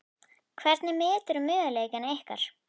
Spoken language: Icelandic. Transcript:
Hvernig meturðu möguleika ykkar?